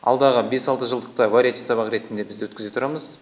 алдағы бес алты жылдықта вариативті сабақ ретінде біз өткізе тұрамыз